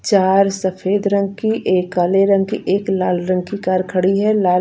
चार सफ़ेद रंग की एक काले रंग की एक लाल रंग की कार खड़ी है लाल --